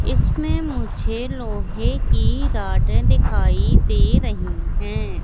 इसमें मुझे लोहे की रॉड दिखाई दे रही है।